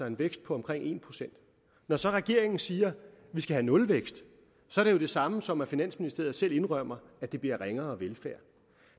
en vækst på omkring en procent når så regeringen siger vi skal have nulvækst er det jo det samme som at finansministeriet selv indrømmer at der bliver ringere velfærd